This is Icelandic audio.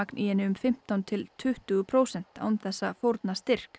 í henni um fimmtán til tuttugu prósent án þess að fórna styrk